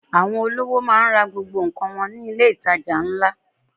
Àwọn olówò máa ń ra gbogbo nǹkan wọn ní ilé-itàjà ńlá.